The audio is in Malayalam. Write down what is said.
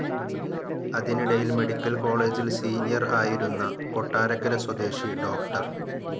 അതിനിടയിൽ മെഡിക്കൽ കോളേജിൽ സീനിയർ ആയിരുന്ന കൊട്ടാരക്കരസ്വദേശി ഡോക്ടർ.